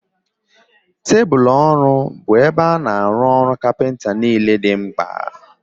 Tebụlu ọrụ bụ ebe a na-arụ ọrụ kapịnta niile dị mkpa